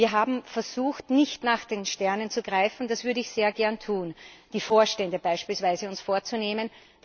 Wir haben versucht, nicht nach den Sternen zu greifen das würde ich sehr gern tun, indem wir uns beispielsweise die Vorstände vornehmen.